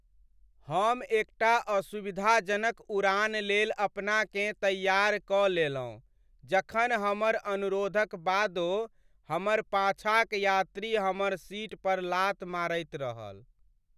हम एकटा असुविधाजनक उड़ान लेल अपनाकेँ तैयार कऽ लेलहुँ जखन हमर अनुरोधक बादो हमर पाछाँक यात्री हमर सीट पर लात मारैत रहल।